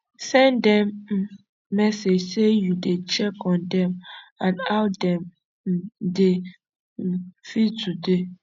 send dem um message sey yu dey check on dem and how dem um dey um feel today